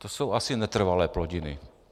To jsou asi netrvalé plodiny.